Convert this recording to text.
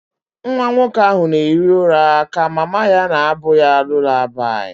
Nwa nwoke ahụ na-ehi ụra ka mama ya na-abụ ya lullaby